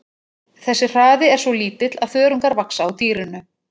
Þessi hraði er svo lítill að þörungar vaxa á dýrinu.